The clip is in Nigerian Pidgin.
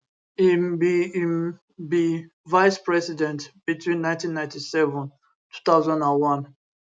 im be im be vice president between 1997 2001